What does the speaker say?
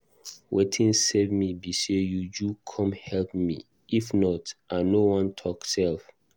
Wetin save me be say Uju come help me if not, I no wan talk sef